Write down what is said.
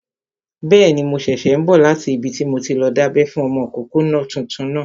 Bẹ́ẹ̀ni, mo ṣẹ̀ṣẹ̀ n bọ̀ láti ibi tí mo ti lọ dábẹ́ fún ọmọkọ́kọ́ tuntun náà